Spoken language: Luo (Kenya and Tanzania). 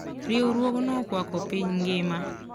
Riwruogno okwako piny ngima.